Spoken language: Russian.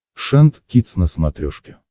шант кидс на смотрешке